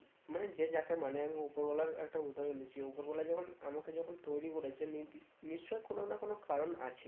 মানে যে যাকে মানে আমি উপরওয়ালার একটা উদাহরণ দিচ্ছি উপরওয়ালা যখন আমাকে যখন তৈরী করেছে নি দি নিশ্চই কোনো না কোনো কারণ আছে